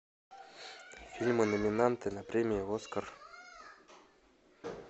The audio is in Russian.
фильмы номинанты на премию оскар